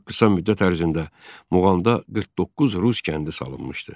Çox qısa müddət ərzində Muğamda 49 rus kəndi salınmışdı.